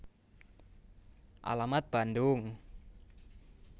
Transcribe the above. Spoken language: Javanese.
Alamat Bandung